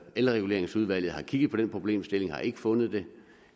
elreguleringsudvalget har kigget på den problemstilling og har ikke fundet det